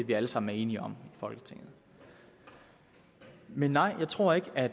vi alle sammen er enige om i folketinget men nej jeg tror ikke at